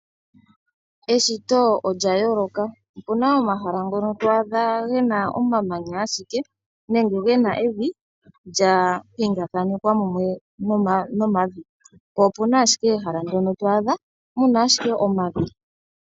Eshito olya yooloka. Opu na omahala ngono to adha ge na omamanya ashike nenge ge na evi lya pingakanigwa mumwe nomavi, po opu na ashike ehala ndyono to adha mu na ashike omavi.